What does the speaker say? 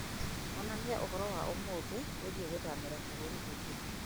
onania ũhoro wa ũmũthĩ wĩgiĩ gũthamĩra bũrũri ũngĩ